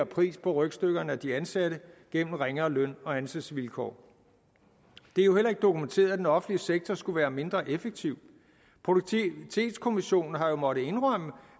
pris på rygstykkerne af de ansatte gennem ringere løn og ansættelsesvilkår det er jo heller ikke dokumenteret at den offentlige sektor skulle være mindre effektiv produktivitetskommissionen har jo måttet indrømme